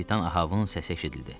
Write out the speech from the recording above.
Kapitan Ahabın səsi eşidildi.